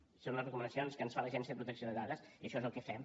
això són les recomanacions que ens fa l’agència de protecció de dades i això és el que fem